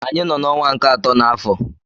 Anyị nọ n'ọnwa nke atọ n'afọ.